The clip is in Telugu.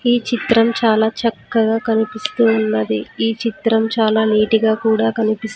ఈ చిత్రం చాలా చక్కగా కనిపిస్తూ ఉన్నది ఈ చిత్రం చాలా నీటి గా కూడా కనిపిస్.